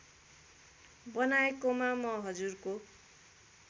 बनाएकोमा म हजुरको